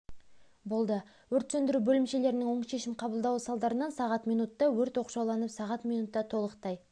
болды өрт сөндіру бөлімшелерінің оң шешім қабылдауы салдарынан сағат минутта өрт оқшауланып сағат минутта толықтай